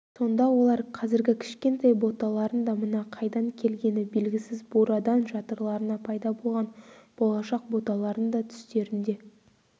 сонда олар қазіргі кішкентай боталарын да мына қайдан келгені белгісіз бурадан жатырларына пайда болған болашақ боталарын да түстерінде